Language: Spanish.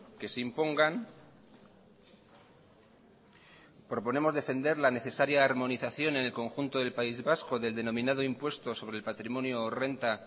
que se impongan proponemos defender la necesaria armonización en el conjunto del país vasco del denominado impuesto sobre el patrimonio o renta